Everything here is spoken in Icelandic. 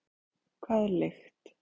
Hvað er lykt?